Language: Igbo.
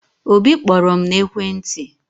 Obi kpọrọ m n'ekwentị